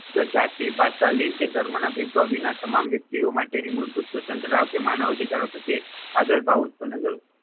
જાતિ ભાષા કે લિંગ ધર્મના ભેદભાવ વિના તમામ વ્યક્તિઓ માટે મૂળભૂત સ્વતંત્રતા કે માનવ અધિકારો પ્રત્યે આદરભાવ ઉત્પન્ન કરવો